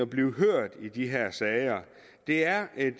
blive hørt i de her sager det er en